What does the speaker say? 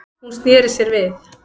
Hún sneri sér við.